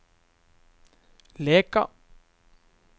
Leka